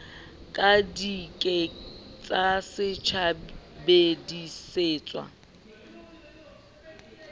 ka di ke ke tsasebedisetswa